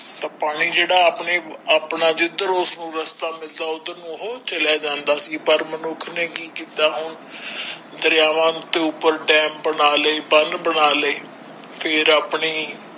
ਤਾ ਪਾਣੀ ਜਿਹੜਾ ਆਪਣਾ ਜਿਧਰੋਂ ਉਸਨੂੰ ਰਸਤਾ ਮਿਲਦਾ ਉੱਧਰ ਨੂੰ ਉਹ ਚਲਾ ਜਾਂਦਾ ਸੀ, ਪਰ ਮਨੁੱਖ ਨੇ ਕੀ ਕਿੱਤਾ ਹੁਣ ਦਰਿਆਵਾ ਦੇ ਉੱਪਰ ਡੈਮ ਬਣਾ ਲਏ ਬੰਨ੍ਹ ਬਣਾ ਲਏ ਫੇਰ ਆਪਣੇ।